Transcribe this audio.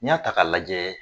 N'i y'a ta k'a lajɛ